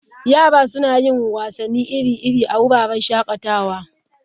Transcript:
Yara suna yin wasanni iri-iri a wuraren shakatawa.